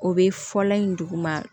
O bɛ fɔlɔ in duguma